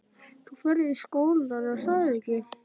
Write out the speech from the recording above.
Þú ferð í skólann, er að ekki?